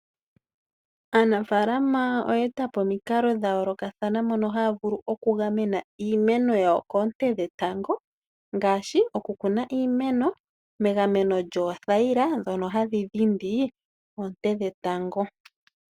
Aanafaalama oye eta omikalo dha yoolokathana tadhi vulu oku gamena iimeno yawo koonte dhetango, ngaashi oku kuna iimeno megameno lyoothayila ndhono hadhi dhindi oonte dhetango.